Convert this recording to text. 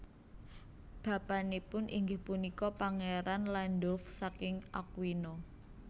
Bapanipun inggih punika Pangeran Landulf saking Aquino